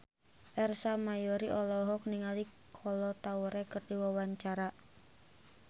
Ersa Mayori olohok ningali Kolo Taure keur diwawancara